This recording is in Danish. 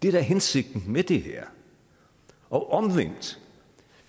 er hensigten med det her og omvendt